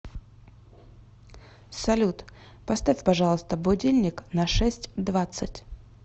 салют поставь пожалуйста будильник на шесть двадцать